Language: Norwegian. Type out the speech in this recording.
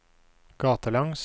gatelangs